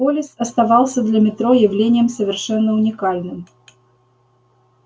полис оставался для метро явлением совершенно уникальным